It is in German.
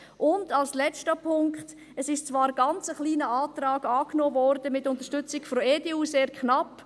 Und als letzter Punkt: Es wurde zwar ein ganz kleiner Antrag angenommen, mit Unterstützung der EDU sehr knapp.